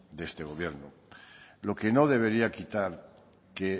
de este gobierno lo que no debería quitar que